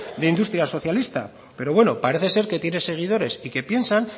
de industria socialista pero bueno parece ser que tiene seguidores y que piensan